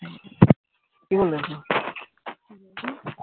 কি বলেছে? হু